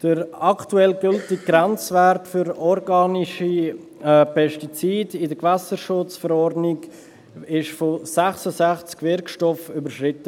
Der aktuell gültige Grenzwert für organische Pestizide in der Kantonalen Gewässerschutzverordnung (KGV) wurde bei 66 Wirkstoffen überschritten.